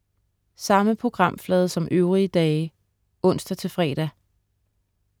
Samme programflade som øvrige dage (ons-fre)